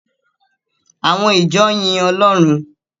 Àwọn ìjọ yin Ọlọ́run.